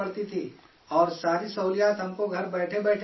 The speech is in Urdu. اور ساری سہولیات ہم کو گھر بیٹھے بیٹھے مل رہی ہیں